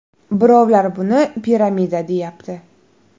Birovlar buni piramida, deyapti.